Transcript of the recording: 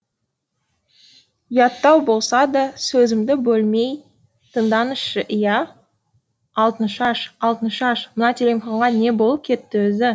ұяттау болса да сөзімді бөлмей тыңдаңызшы иә алтыншаш алтыншаш мына телефонға не болып кетті өзі